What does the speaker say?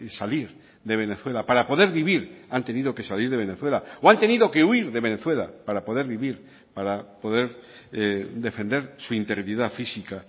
salir de venezuela para poder vivir han tenido que salir de venezuela o han tenido que huir de venezuela para poder vivir para poder defender su integridad física